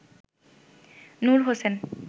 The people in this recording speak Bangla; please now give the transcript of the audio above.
নুর হোসেন